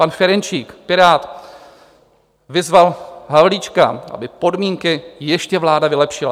Pan Ferjenčík, Pirát, vyzval Havlíčka, aby podmínky ještě vláda vylepšila.